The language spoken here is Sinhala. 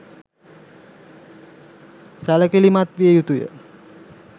සැළකිළිමත් විය යුතු ය.